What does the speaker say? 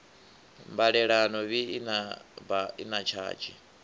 mbalelano bi i na tshadzhi